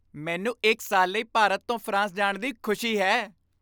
ਮੈਨੂੰ ਇੱਕ ਸਾਲ ਲਈ ਭਾਰਤ ਤੋਂ ਫਰਾਂਸ ਜਾਣ ਦੀ ਖੁਸ਼ੀ ਹੈ।